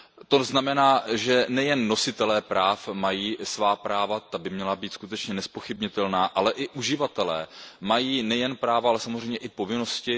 To znamená, že nejen nositelé práv mají svá práva, ta by měla být skutečně nezpochybnitelná, ale i uživatelé mají nejen práva, ale samozřejmě i povinnosti.